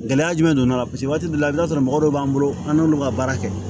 Gɛlɛya jumɛn donna la paseke waati dɔ la i bi t'a sɔrɔ mɔgɔ dɔw b'an bolo an n'olu ka baara kɛ